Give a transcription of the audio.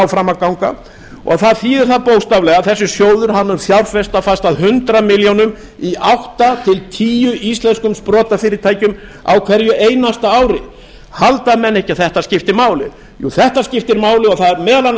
fram að ganga það þýðir það bókstaflega að þessi sjóður mun fjárfesta fast að hundrað milljónir króna í átta til tíu íslenskum sprotafyrirtækjum á hverju einasta ári halda menn ekki að þetta skipti máli þetta skiptir máli og það er meðal annars